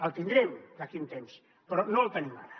el tindrem d’aquí a un temps però no el tenim ara